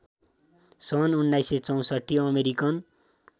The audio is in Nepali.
सन् १९६४ अमेरिकन